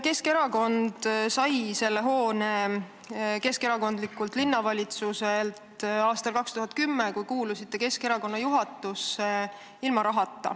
Keskerakond sai selle hoone keskerakondlikult linnavalitsuselt aastal 2010, kui teie kuulusite Keskerakonna juhatusse, ilma rahata.